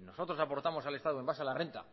nosotros aportamos al estado en base a la renta